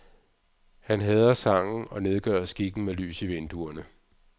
Han hader sangen og nedgør skikken med lys i vinduerne.